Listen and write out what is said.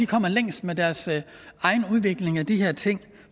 kommer længst med deres egen udvikling af de her ting